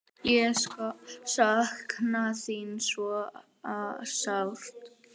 Ég sakna þín svo sárt.